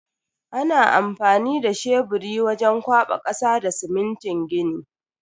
Ana amfani da sheburi wajen kwaba kasa da simintin gini.